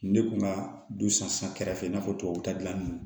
Ne kun ka du san kɛrɛfɛ i n'a fɔ tubabu da gilan